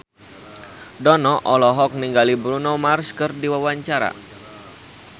Dono olohok ningali Bruno Mars keur diwawancara